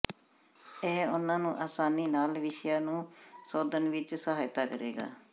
ਇਹ ਉਨ੍ਹਾਂ ਨੂੰ ਅਸਾਨੀ ਨਾਲ ਵਿਸ਼ਿਆਂ ਨੂੰ ਸੋਧਣ ਵਿੱਚ ਸਹਾਇਤਾ ਕਰੇਗਾ